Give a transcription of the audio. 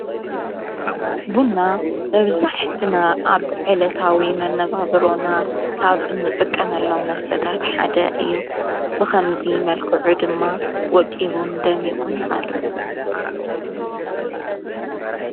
ቡና ኣብዛሕትና ኣብ ዕለታዊ መነባብሮና ካብ እንጥቀመሎም መስተታት ሓደ እዩ ብኸምዙይ መልክዑ ድማ ወቂቡን ደሚዖን ይቐርብ።